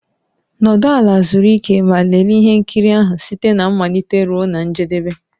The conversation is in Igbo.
Nọdụ ala, zuru ike ma lelee ihe nkiri ahụ site na mmalite ruo na njedebe.